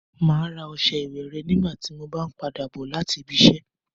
Mà á ra ọṣẹ ìwẹ̀ rẹ nígbà tí mo b ń padà bọ láti ibiṣẹ́.